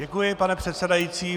Děkuji, pane předsedající.